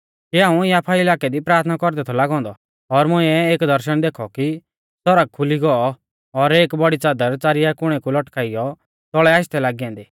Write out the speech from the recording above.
कि हाऊं याफा इलाकै दी प्राथना कौरदै थौ लागौ औन्दौ और मुंइऐ एक दर्शण देखौ कि सौरग खुली गौ और एक बौड़ी च़ादर च़ारिया कुणै कु लटकाइयौ तौल़ै आशदै लागी ऐन्दी